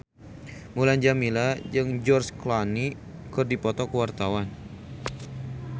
Mulan Jameela jeung George Clooney keur dipoto ku wartawan